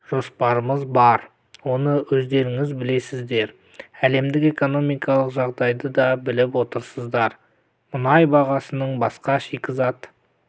жоспарларымыз бар оны өздеріңіз білесіздер әлемдік экономикалық жағдайды да біліп отырсыздар мұнай бағасының басқа шикізат